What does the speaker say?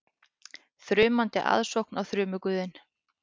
Þrumandi aðsókn á þrumuguðinn